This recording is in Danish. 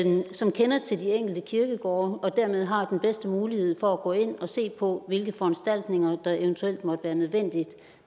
som kender til de enkelte kirkegårde og dermed har den bedste mulighed for at gå ind og se på hvilke foranstaltninger der eventuelt måtte være nødvendige